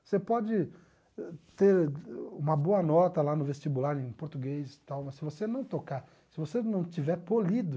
Você pode ter uma boa nota lá no vestibular em português e tal, mas se você não tocar, se você não estiver polido...